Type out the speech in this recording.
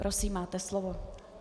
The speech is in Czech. Prosím, máte slovo.